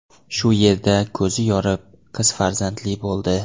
shu yerda ko‘zi yorib, qiz farzandli bo‘ldi.